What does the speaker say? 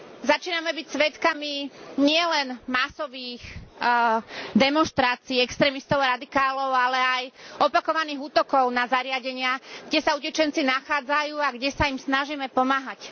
Začíname byť svedkami nielen masových demonštrácií extrémistov a radikálov, ale aj opakovaných útokov na zariadenia, kde sa utečenci nachádzajú a kde sa im snažíme pomáhať.